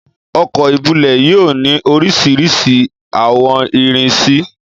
ọkọ́ íbulẹ̀ yoo ni orisirisi awọn irisi.